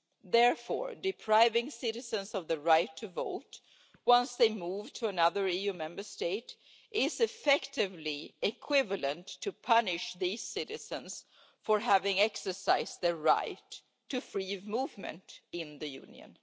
Therefore, depriving citizens of the right to vote once they move to another EU Member State is effectively equivalent to punishing these citizens for having exercised their right to free movement in the Union.